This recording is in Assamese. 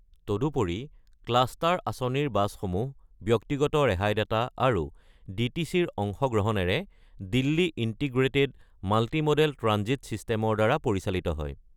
তদুপৰি ক্লাষ্টাৰ আঁচনিৰ বাছসমূহ ব্যক্তিগত ৰেহাইদাতা আৰু ডিটিচিৰ অংশগ্ৰহণেৰে দিল্লী ইন্টিগ্ৰেটেড মাল্টি-মডেল ট্ৰানজিট ছিষ্টেমৰ দ্বাৰা পৰিচালিত হয়।